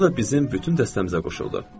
Orda da bizim bütün dəstəmizə qoşuldu.